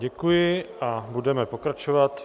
Děkuji a budeme pokračovat.